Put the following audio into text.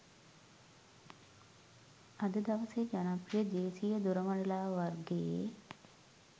අද දවසේ ජනප්‍රිය දේශීය දොරමඩලාව වර්ගයේ